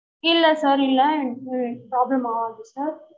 இல்ல sir இல்ல அஹ் problem ஆகாது sir